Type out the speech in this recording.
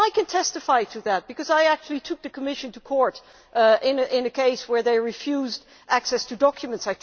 I can testify to that, because I actually took the Commission to court in a case where they refused access to documents.